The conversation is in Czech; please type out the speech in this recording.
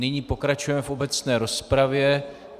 Nyní pokračujeme v obecné rozpravě.